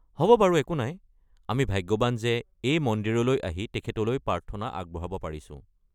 হ’ব বাৰু একো নাই, আমি ভাগ্যৱান যে এই মন্দিৰলৈ আহি তেখেতলৈ প্ৰাৰ্থনা আগবঢ়াব পাৰিছো।